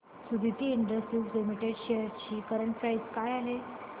Suditi industries limited shares ची current price काय आहे